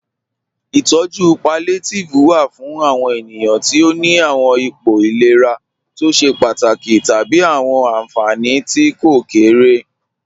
Itọju pallíátívẹ̀ wà fún àwọn ènìyàn tí ó ní àwọn ìpọ̀ ìlẹ̀rà tó ṣẹ̀ pátákì tábí àwọn ànfánì tí kò kéré